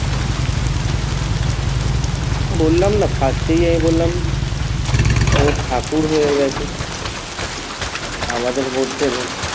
বললাম না? first এই আমি বললাম ওই ঠাকুর হয়ে গেছে আমাদের মধ্যে নেই